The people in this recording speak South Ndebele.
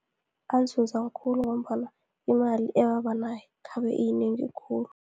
Anzunza khulu, ngombana imali ebabanayo, khabe iyinengi khulu.